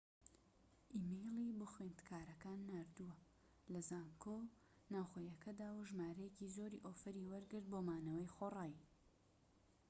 ئیمەیلی بۆ خوێندکارەکان ناردووە لە زانکۆ ناوخۆییەکەدا و ژمارەیەکی زۆری ئۆفەری وەرگرت بۆ مانەوەی خۆڕایی